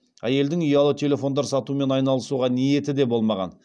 әйелдің ұялы телефондар сатумен айналысуға ниеті де болмаған